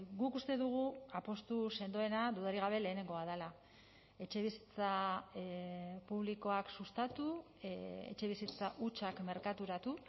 guk uste dugu apustu sendoena dudarik gabe lehenengoa dela etxebizitza publikoak sustatu etxebizitza hutsak merkaturatu